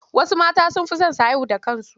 Wasu matan sun fi son su haihu da kansu.